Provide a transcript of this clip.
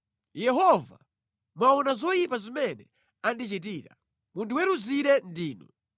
Yehova, mwaona zoyipa zimene andichitira. Mundiweruzire ndinu!